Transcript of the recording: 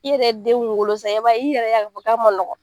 I yɛrɛ denw wolo sa i b'a i yɛrɛ y'a ye ko a man nɔgɔn